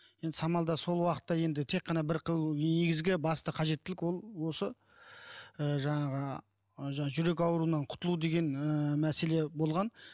енді самалда сол уақытта енді тек қана бір негізгі басты қажеттілік ол осы ы жаңағы жаңағы жүрек ауруынан құтылу деген ыыы мәселе болған